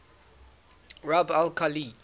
rub al khali